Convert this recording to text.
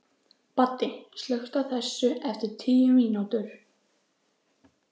Baddi, slökktu á þessu eftir tíu mínútur.